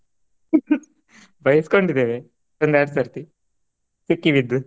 ಬೈಸಕೊಂಡಿದೇವೇ ಒಂದ್ ಎರಡ್ ಸರ್ತಿ ಸಿಕ್ಕಿ ಬಿದ್ದು.